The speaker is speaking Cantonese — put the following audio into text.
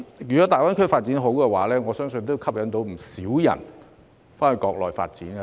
如果大灣區發展理想，我相信會吸引很多人到該區發展。